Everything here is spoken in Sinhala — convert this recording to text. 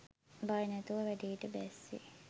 බය නැතුව වැඩේට බැස්සේ